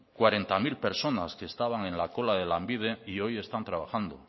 cuarenta mil personas que estaban en la cola de lanbide y hoy están trabajando